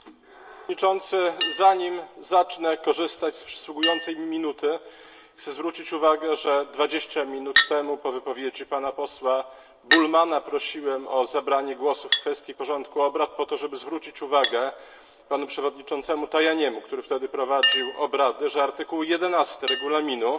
Panie Przewodniczący! Zanim zacznę korzystać z przysługującej mi minuty, chcę zwrócić uwagę, że dwadzieścia minut temu, po wypowiedzi pana posła Bullmanna, prosiłem o zabranie głosu w kwestii porządku obrad, po to żeby zwrócić uwagę panu przewodniczącemu Tajaniemu, który wtedy prowadził obrady, że artykuł 11 Regulaminu